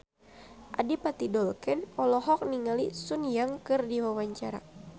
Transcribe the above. Adipati Dolken olohok ningali Sun Yang keur diwawancara